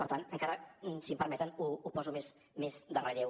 per tant encara si m’ho permeten ho poso més en relleu